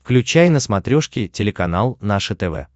включай на смотрешке телеканал наше тв